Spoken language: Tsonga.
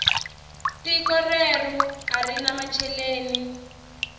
tiko reru arina macheleni